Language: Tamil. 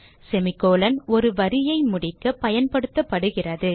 semi கோலோன் ஒரு வரியை முடிக்க பயன்படுத்தப்படுகிறது